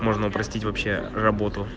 можно простить вообще работу